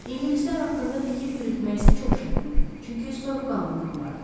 İngilislər haqqında fikir yürütmək isə çox çətindir, çünki soyuqqanla adamlardır.